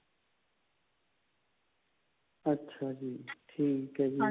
ਅੱਛਾ ਜੀ ਠੀਕ ਹੈ ਜੀ